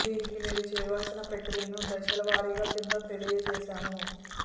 దీనికి మీరు చేయాల్సిన ప్రక్రియను దశల వారీగా కింద తెలియచేశాము